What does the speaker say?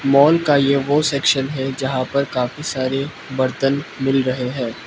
Mall का ये वो सेक्शन है जहां पर काफी सारे बर्तन मिल रहे हैं।